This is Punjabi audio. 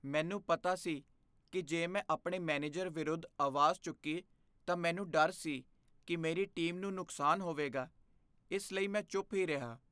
ਮੈਨੂੰ ਪਤਾ ਸੀ ਕਿ ਜੇ ਮੈਂ ਆਪਣੇ ਮੈਨੇਜਰ ਵਿਰੁੱਧ ਆਵਾਜ਼ ਚੁੱਕੀ ਤਾਂ ਮੈਨੂੰ ਡਰ ਸੀ ਕਿ ਮੇਰੀ ਟੀਮ ਨੂੰ ਨੁਕਸਾਨ ਹੋਵੇਗਾ, ਇਸ ਲਈ ਮੈਂ ਚੁੱਪ ਹੀ ਰਿਹਾ।